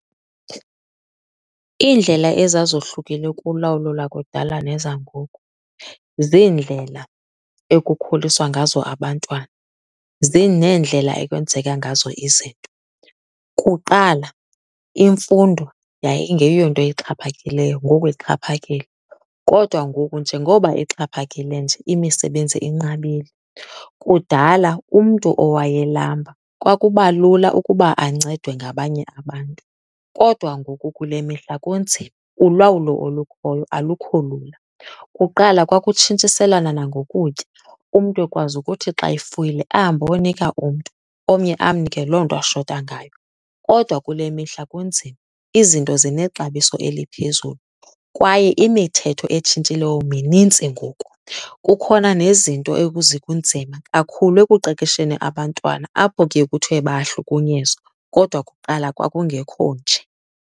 Iindlela ezazohlukile kulawulo lakudala nezangoku ziindlela ekukhuliswa ngazo abantwana neendlela ekwenzeka ngazo izinto. Kuqala imfundo yayingeyonto ixhaphakileyo, ngoku ixhaphakile. Kodwa ngoku njengoba ixhaphakile nje, imisebenzi inqabile. Kudala umntu owayelamba kwakuba lula ukuba ancedwe ngabanye abantu, kodwa ngoku kule mihla kunzima, ulawulo olukhoyo alukho lula. Kuqala kwakutshintshiselwana nangokutya, umntu ekwazi ukuthi xa efuyile ahambe ayonika umntu, omnye amnike loo nto ashota ngayo. Kodwa kule mihla kunzima, izinto zinexabiso eliphezulu kwaye imithetho etshintshileyo minintsi ngoku. Kukhona nezinto kunzima kakhulu ekuqeqesheni abantwana apho kuye kuthiwe bayahlukunyezwa, kodwa kuqala kwakungekho nje.